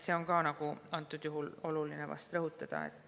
Seda on praegusel juhul vast oluline rõhutada.